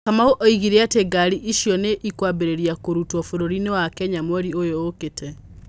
Kamau oigire atĩ ngari icio nĩ ikwambĩrĩria gũrutwo vũrũri-inĩ wa Kenya mweri ũyũ ũkĩte.